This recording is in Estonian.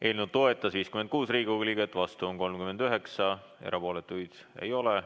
Eelnõu toetas 56 Riigikogu liiget, vastuolijaid oli 39 ja erapooletuid ei olnud.